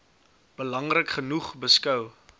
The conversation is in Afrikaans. belangrik genoeg beskou